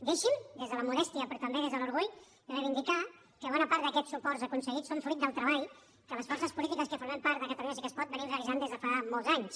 deixi’m des de la modèstia però també des de l’orgull reivindicar que bona part d’aquests suports aconseguits són fruit del treball que les forces polítiques que formem part de catalunya sí que es pot estem realitzant des de fa molts anys